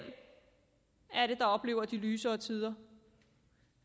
er det der oplever de lysere tider